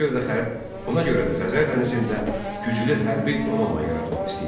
Ona görə də Xəzər dənizində güclü hərbi donanma yaratmaq istəyirdi.